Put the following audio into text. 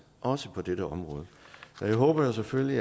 også på dette område jeg håber jo selvfølgelig